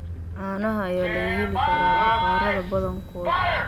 Caanaha ayaa laga heli karaa bakhaarada badankood.